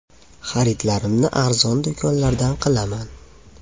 Xaridlarimni arzon do‘konlardan qilaman.